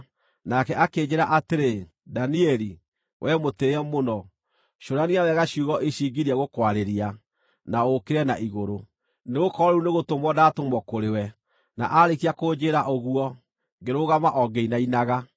Nake akĩnjĩĩra atĩrĩ, “Danieli, wee mũtĩĩe mũno, cũrania wega ciugo ici ngirie gũkwarĩria, na ũũkĩre na igũrũ, nĩgũkorwo rĩu nĩgũtũmwo ndatũmwo kũrĩ we.” Na aarĩkia kũnjĩĩra ũguo, ngĩrũgama o ngĩinainaga.